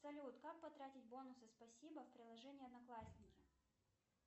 салют как потратить бонусы спасибо в приложении одноклассники